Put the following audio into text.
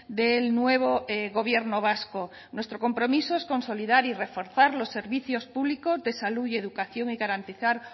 del nuevo gobierno vasco nuestro compromiso es consolidar y reforzar los servicios públicos de salud y educación y garantizar